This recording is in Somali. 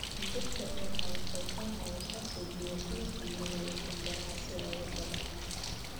Dhirta ubaxa waxay ka caawisaa soo jiidashada shinnida iyo shimbiraha si ay ugu soo baxaan.